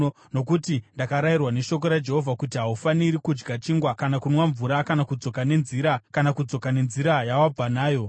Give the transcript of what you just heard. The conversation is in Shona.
Nokuti ndakarayirwa neshoko raJehovha kuti, ‘Haufaniri kudya chingwa kana kunwa mvura kana kudzoka nenzira yawabva nayo.’ ”